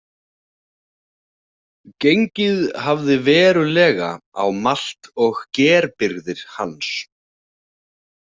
Gengið hafði verulega á malt- og gerbirgðir hans.